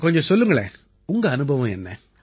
கொஞ்சம் சொல்லுங்களேன் உங்க அனுபவம் என்ன